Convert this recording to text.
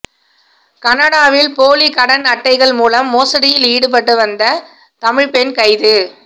கனடாவில் போலி கடன் அட்டைகள் மூலம் மோசடியில் ஈடுபட்ட வந்த தமிழ் பெண் கைது